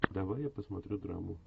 давай я посмотрю драму